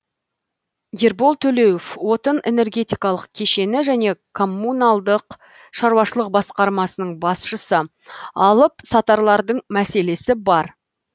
ербол төлеуов отын энергетикалық кешені және коммуналдық шаруашылық басқармасының басшысы алып сатарлардың мәселесі бар